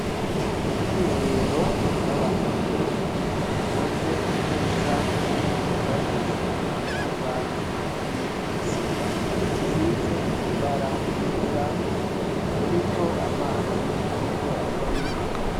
Ubwiherero bw'abahungu bukoze neza ububashishijwe amatafari aturiye nisima busize ibara ryera buriko amazi, ariko ava mu mabombo.